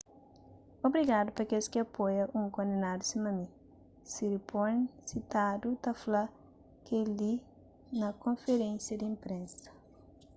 obrigadu pa kes ki apoia un kondenadu sima mi siriporn sitadu ta fla kel-li na konferénsia di inprensa